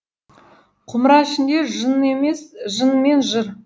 құмыра ішінде жын емес жын мен жыр